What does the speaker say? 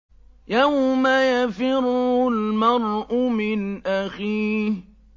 يَوْمَ يَفِرُّ الْمَرْءُ مِنْ أَخِيهِ